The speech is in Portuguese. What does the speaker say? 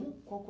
Com qual